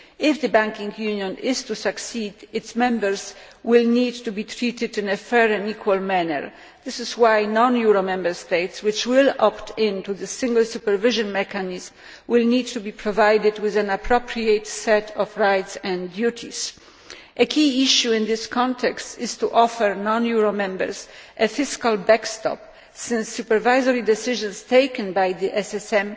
If the banking union is to succeed, its members will need to be treated in a fair and equal manner. This is why non euro Member States, which will opt in to the single supervision mechanism, will need to be provided with an appropriate set of rights and duties. A key issue in this context is offering non euro Members a fiscal backstop, since supervisory decisions taken by the SSM